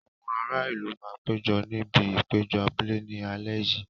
Àwọn ará ìlú máa péjọ níbi ìpéjọ abúlé ní alẹ́ yìí.